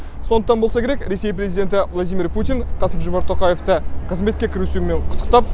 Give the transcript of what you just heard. сондықтан болса керек ресей президенті владимир путин қасым жомарт тоқаевты қызметке кірісуімен құттықтап